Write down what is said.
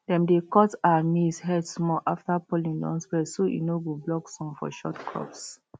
dem dey cut um maize head small after pollen don spread so e no go block sun for short crops